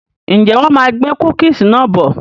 Ǹjẹ́ wọn má gbé "cookies" náà bọ̀?